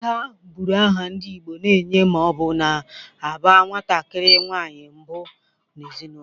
Ada bụrụ aha ndị Igbo na-enye ma ọ bụ na-aba nwatakiri nwanyị mbụ n'ezinaụlọ.